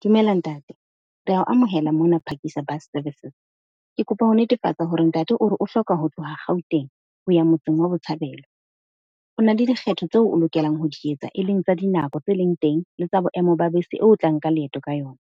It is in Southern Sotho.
Dumela ntate re ya o amohela mona Phakisa Bus Services. Ke kopa ho netefatsa hore ntate o re o hloka ho tloha Gauteng ho ya motseng wa Botshabelo. O na le dikgetho tseo o lokelang ho di etsa, e leng tsa dinako tse leng teng le tsa boemo ba bese eo o tla nka leeto ka yona.